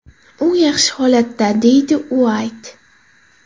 U yaxshi holatda”, deydi Uayt.